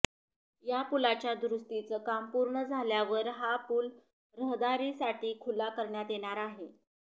या पुलाच्या दुरुस्तीचं काम पूर्ण झाल्यावर हा पूल रहदारीसाठी खुला करण्यात येणार आहे